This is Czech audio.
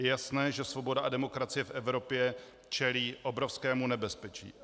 Je jasné, že svoboda a demokracie v Evropě čelí obrovskému nebezpečí.